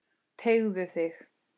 Teygðu þig.